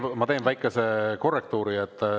Ma teen väikese korrektuuri.